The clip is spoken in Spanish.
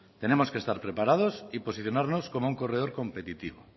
tenemos que estar preparados y posicionarnos como un corredor competitivo